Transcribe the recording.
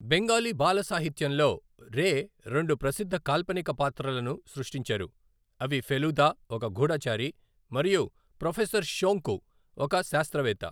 బెంగాలీ బాల సాహిత్యంలో రే రెండు ప్రసిద్ధ కాల్పనిక పాత్రలను సృష్టించారు, అవి ఫెలుదా, ఒక గూఢచారి మరియు ప్రొఫెసర్ షోంకు, ఒక శాస్త్రవేత్త.